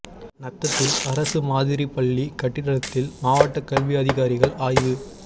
நத்தத்தில் அரசு மாதிரி பள்ளி கட்டிடத்தில் மாவட்ட கல்வி அதிகாரிகள் ஆய்வு